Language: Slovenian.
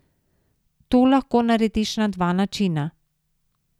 To lahko narediš na dva načina.